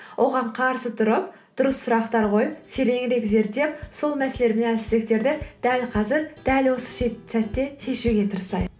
оған қарсы тұрып дұрыс сұрақтар қойып тереңірек зерттеп сол мәселелер мен әлсіздіктерді дәл қазір дәл осы сәтте шешуге тырысайық